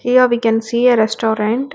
Here we can see a restaurant.